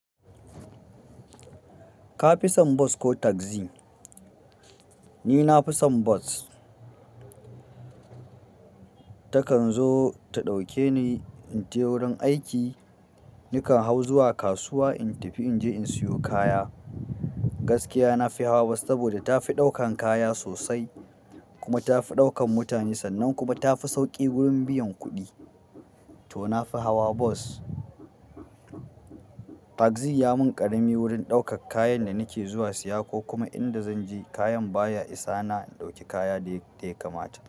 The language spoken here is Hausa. Ka fi son bus ko tagzi? Ni na fi son bus. Takan zo ta ɗauke ni in je wurin aiki. Nakan hau zuwa kasuwa in tafi inje in siyo kaya. Gaskiya nafi hawa bas saboda tafi ɗaukan kaya sosai kuma tafi ɗaukan mutane sannan kuma tafi sauƙi wurin biyan kuɗi to nafi hawa bus. Tagzi ya mun ƙarami wurin ɗaukar kayan da nake zuwa siya ko kuma inda zan je kayan baya isa na ɗauki kaya dai yadda ya kamata.